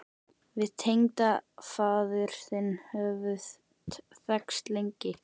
Við tengdafaðir þinn höfum þekkst lengi.